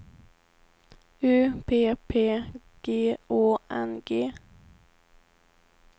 U P P G Å N G